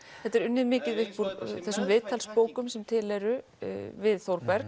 þetta er unnið mikið upp úr þessum viðtalsbókum sem til eru við Þórberg